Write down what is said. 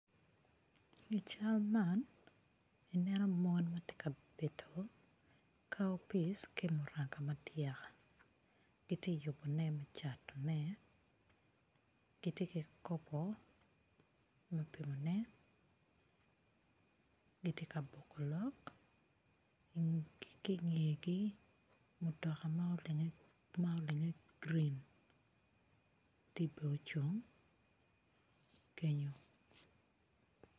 I cal man ineno mon ma gitye ka bito cowpease ki muranga kitye ka yubone me catone gitye ki kikopo me pimone gitye ka boko lok ki i ngegi mutoka ma olinge green tye bene ocung kenyu.